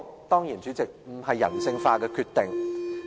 當然，這不是人性化的決定。